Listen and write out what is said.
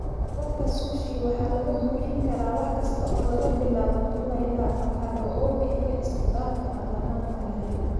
Duubabka Sushi waxaa lagu buuxin karaa wax kasta oo laga bilaabo tuna ilaa avokado, oo bixiya isku-dhafka aan dhammaadka lahayn.